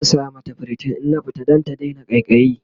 zan saya mata priton in na fita Dan ta Daina ƙaiƙayi